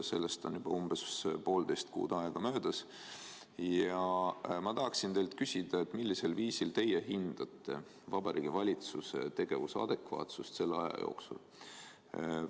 Sellest on juba umbes poolteist kuud möödas ja ma tahan teilt küsida, kuidas te hindate Vabariigi Valitsuse tegevuse adekvaatsust selle aja jooksul.